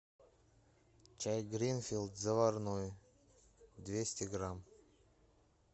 чай гринфилд заварной двести грамм